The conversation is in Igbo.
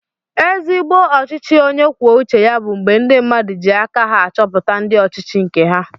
Ezigbo ọchịchị onye kwuo uche ya bu mgbe ndi mmadụ ji aka ha achọpụta ndị ọchịchị nke ha